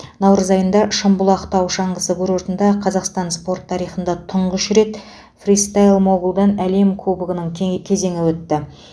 наурыз айында шымбұлақ тау шаңғы курортында қазақстан спорт тарихында тұңғыш рет фристайл могулдан әлем кубгінің кезеңі өтті